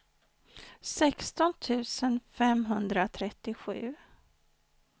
sexton tusen femhundratrettiosju